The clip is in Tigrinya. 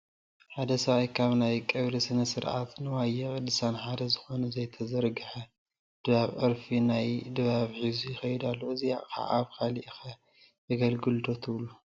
ሓደ ሰብኣይ ካብ ናይ ቀብሪ ስነ ስርዓት ንዋየ ቅድሳትን ሓደ ዝኾነ ዘይተዘርገሐ ድባብን ዕርፊ ናይቲ ድባብን ሒዙ ይኸይድ ኣሎ፡፡ እዚ ኣቕሓ ኣብ ካሊእ ኸ የገልግል ዶ ትብሉ?